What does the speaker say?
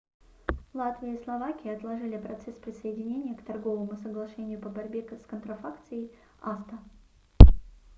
латвия и словакия отложили процесс присоединения к торговому соглашению по борьбе с контрафакцией acta